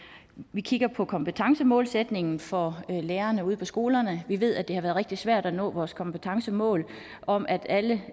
vi kigger på kompetencemålsætningen for lærerne ude på skolerne vi ved at det har været rigtig svært at nå vores kompetencemål om at alle